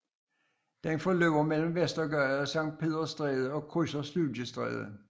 Den forløber mellem Vestergade og Sankt Peders Stræde og krydser Studiestræde